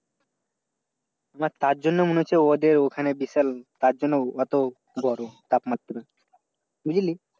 আমার তার জন্য মনে হচ্ছে ওদের ওখানে বিশাল তারজন্য অত গরম তাপমাত্রা। বুঝলি?